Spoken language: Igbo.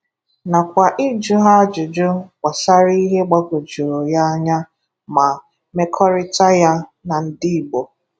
nakwa ịjụ ha ajụjụ gbasara ihe gbagwojuru ya anya na mmekọrịta ya na ndị Igbo.